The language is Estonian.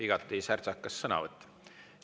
Igati särtsakas sõnavõtt.